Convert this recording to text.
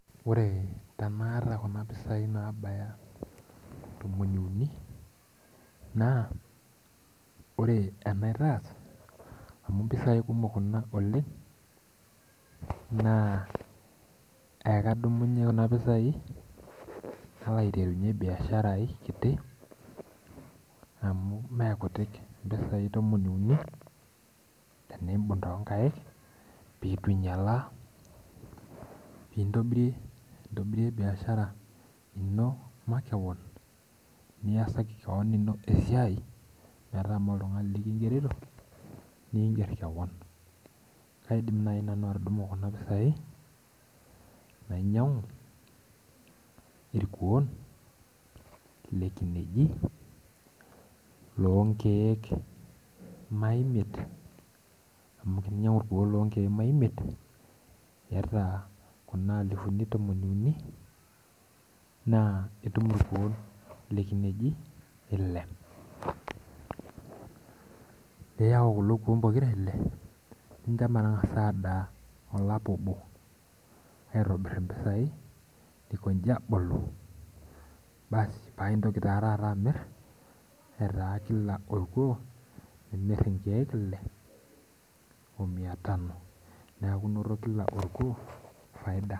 Ore tanaata kuna pisai nabaya tomon iuni, naa, ore enaitaas amu mpisai kumok kuna oleng, naa ekadumu nai kuna pisai, nalo aiterunye biashara ai kiti, amu mekutik impisai tomon iuni, tenibung' tonkaik pitunyalaa, pintobirie biashara ino makeon, niasaki keon ino esiai metaa moltung'ani likigerito, niiger keon. Kaidim nai nanu atudumu kuna pisai, nainyang'u irkuon lekineji, lonkeek maimiet, amu teninyang'u irkuon lonkeek maimiet, iyata kuna alifuni tomon iuni, naa itum irkuon lekineji ile. Neyau kulo kuon pokira ile, nincho metang'asa adaa olapa obo aitobir impisai, nincho ikoji abulu, basi paintoki taa taata amir, etaa kila orkuo, nimir inkeek ile, omia tano. Neeku inoto kila orkuo, faida.